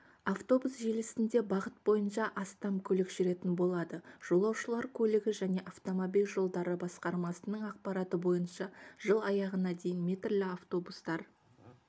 автобус желісінде бағыт бойынша астам көлік жүретін болады жолаушылар көлігі және автомобиль жолдары басқармасының ақпараты бойынша жыл аяғына дейін метрлі автобустар